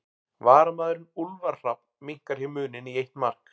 Varamaðurinn Úlfar Hrafn minnkar hér muninn í eitt mark.